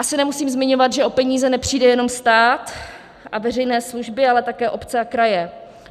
Asi nemusím zmiňovat, že o peníze nepřijde jenom stát a veřejné služby, ale také obce a kraje.